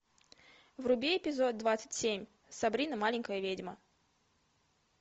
вруби эпизод двадцать семь сабрина маленькая ведьма